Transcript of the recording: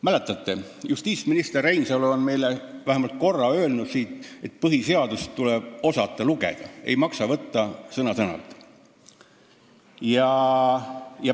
Mäletate, justiitsminister Reinsalu on meile siit puldist vähemalt korra öelnud, et põhiseadust tuleb osata lugeda, seda ei maksa võtta sõna-sõnalt.